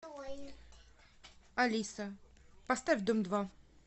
алиса поставь дом два